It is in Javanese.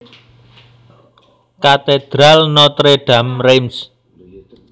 Katedral Notre Dame Reims